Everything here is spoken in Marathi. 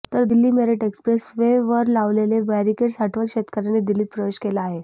तर दिल्ली मेरठ एक्स्प्रेस वे वर लावलेले बॅरिकेड् हटवत शेतकऱ्यांनी दिल्लीत प्रवेश केला आहे